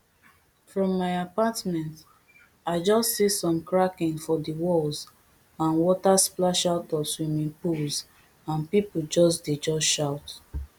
from my apartment i just see some cracking for di walls and water splash out of swimming pools and pipo just dey just shout